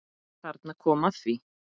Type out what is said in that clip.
Þarna kom að því.